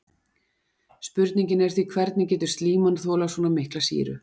Spurningin er því hvernig getur slíman þolað svona mikla sýru?